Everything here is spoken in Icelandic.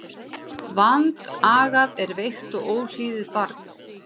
Vandagað er veikt og óhlýðið barn.